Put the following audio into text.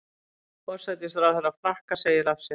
Forsætisráðherra Frakka segir af sér